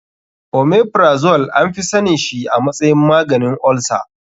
Omeprazole anfi sanin shi a matsayin maganin olsa.